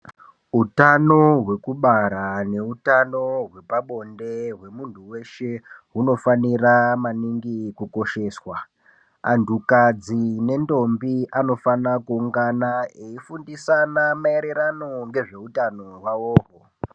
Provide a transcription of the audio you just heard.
Utano hwekubara neutano hwepabonde hwemuntu weshe hunofanira maningi kukosheswa. Antukadzi nendombi anofana kuungana eifundisana maererano ngezveutano hwaohwo.